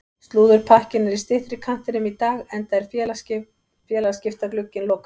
Slúðurpakkinn er í styttri kantinum í dag enda er félagaskiptaglugginn lokaður.